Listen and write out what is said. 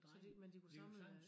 Så de men de kunne samle øh